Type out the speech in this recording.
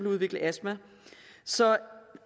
udvikle astma så